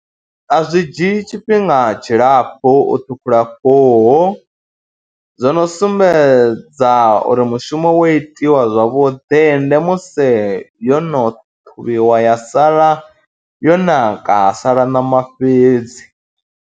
A zwi dzhii tshifhinga tshilapfhu u ṱhukhula khuhu, zwo no sumbedza uri mushumo wo itiwa zwavhuḓi ende musi yo no ṱhuvhiwa ya sala yo naka ha sala ṋama fhedzi.